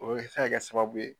O be se ka kɛ sababu ye